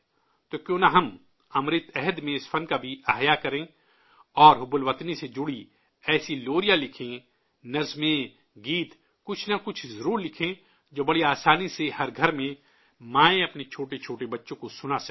تو کیوں نہ ہم، امرت کال میں، اس فن کو بھی دوبارہ زندہ کریں اور حب الوطنی سے جڑی ایسی لوریاں لکھیں، نظمیں، گیت، کچھ نہ کچھ ضرور لکھیں جو بڑی آسانی سے، ہر گھر میں مائیں اپنے چھوٹے چھوٹے بچوں کو سنا سکیں